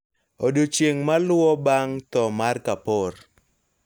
Odiechieng` maluwo bang` tho mar Kapoor,